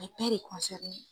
A bɛ bɛɛ de